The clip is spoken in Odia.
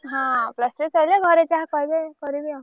ହଁ plus three ସଇଲେ ଘରେ ଯାହା କହିବେ କରିବି ଆଉ।